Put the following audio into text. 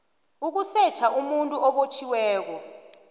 ukusetjha umuntu obotjhiweko